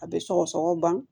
A bɛ sɔgɔsɔgɔ ban